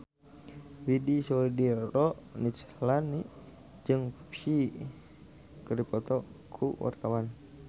Widy Soediro Nichlany jeung Psy keur dipoto ku wartawan